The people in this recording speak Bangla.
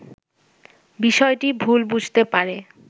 বিষয়টি ভুল বুঝতে পারে